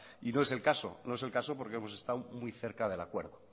no es el caso porque hemos estado muy cerca del acuerdo